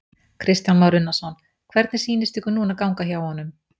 Kristján Már Unnarsson: Hvernig sýnist ykkur núna ganga hjá honum?